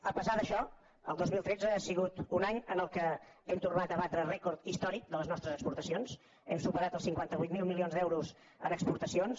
a pesar d’això el dos mil tretze ha sigut un any en què hem tornat a batre rècord històric de les nostres exporta cions hem superat els cinquanta vuit mil milions d’euros en exportacions